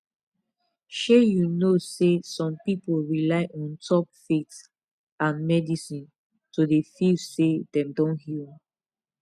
shey you know seh some people rely on top faith and medicine to dey feel seh them don heal